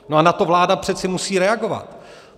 - No a na to vláda přece musí reagovat.